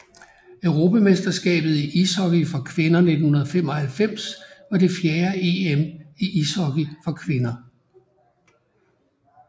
Europamesterskabet i ishockey for kvinder 1995 var det fjerde EM i ishockey for kvinder